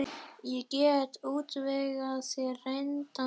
Ég get útvegað þér reyndan þjálfara.